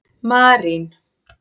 Marín